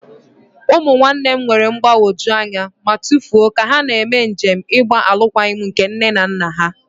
Ụmụ nwanne nne m nwere mgbagwoju anya ma tụfuo ka ha na-eme njem ịgba alụkwaghịm nke nne na nna ha.